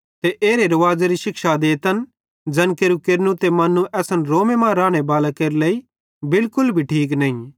ते एरे रुवाज़ेरी शिक्षा देतन ज़ैन केरू केरनू ते मन्नू असन रोमे मां रानेबालान केरे इश्शे लेइ बिलकुल भी ठीक नईं